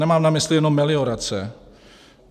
Nemám na mysli jenom meliorace.